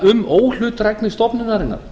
um óhlutdrægni stofnunarinnar